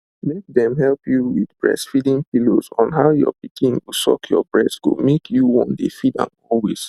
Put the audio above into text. make dem help you with breastfeeding pillows on how your pikin go suck your breast go make you won dey feed am always